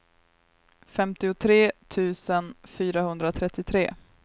femtiotre tusen fyrahundratrettiotre